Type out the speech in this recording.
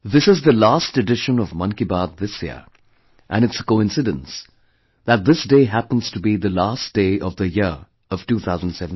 This is the last edition of 'Mann Ki Baat' this year and it's a coincidence that this day happens to be the last day of the year of 2017